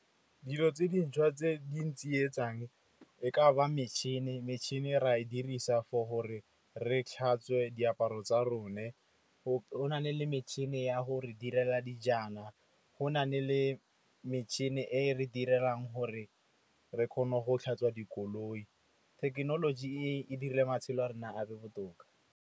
Dilo tse dintšhwa tse di ntsietsang e ka ba metšhine. Metšhine ra e dirisa for gore re e tlhatswe diaparo tsa rona. Go na le metšhine ya gore re direla dijana, go nne le metšhine e re direlang gore re kgone go tlhatswa dikoloi. Thekenoloji e dirile matshelo a rona a be botoka.